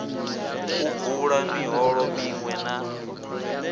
u bula miholo miṅwe na